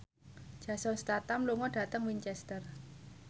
Jason Statham lunga dhateng Winchester